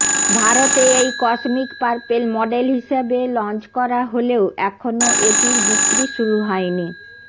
ভারতে এই cosmic purple model হিসাবে লঞ্চ করা হলেও এখনও এটির বিক্রি শুরু হয়নি